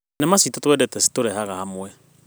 Thenema ciitũ twendete citũrehaga hamwe.